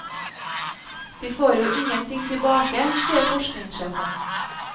De får jo ingenting tilbake, sier forskningssjefen.